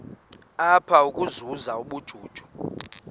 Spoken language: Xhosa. apha ukuzuza ubujuju